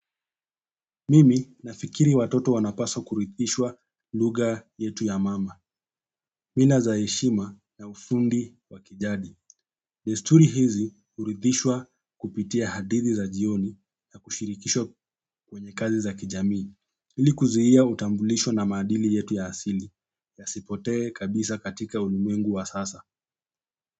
Mimi nafikiri watoto wanapaswa kurithishwa lugha yetu ya mama. Mila za heshima na ufundi wa kijadi. Desturi hizi hurithishwa kupitia hadithi za jioni na kushirikishwa kwenye kazi za kijamii ili kuzuia utambulisho na maadili yetu ya asili. Yasipotee kabisa katika ulimwengu wa sasa.